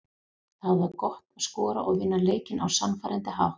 Það var gott að skora og vinna leikinn á sannfærandi hátt.